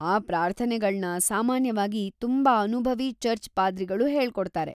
ಆ ಪ್ರಾರ್ಥನೆಗಳ್ನ ಸಾಮಾನ್ಯವಾಗಿ ತುಂಬಾ ಅನುಭವಿ ಚರ್ಚ್ ಪಾದ್ರಿಗಳು ಹೇಳ್ಕೊಡ್ತಾರೆ.